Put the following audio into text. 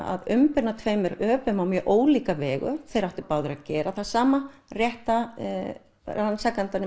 að umbuna tveggja öpum á mjög ólíkega vegu þeir áttu báðir að gera það sama rétta